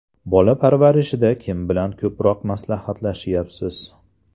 Bola parvarishida kim bilan ko‘proq maslahatlashyapsiz?